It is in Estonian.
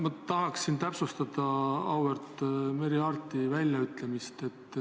Ma tahaksin täpsustada auväärt Merry Aarti väljaütlemist.